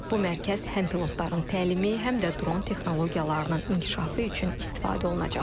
Bu mərkəz həm pilotların təlimi, həm də dron texnologiyalarının inkişafı üçün istifadə olunacaq.